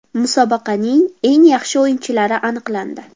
Musobaqaning eng yaxshi o‘yinchilari aniqlandi.